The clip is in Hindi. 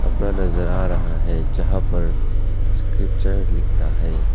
अपना नजर आ रहा है जहां पर स्क्रिप्चर लिखता है।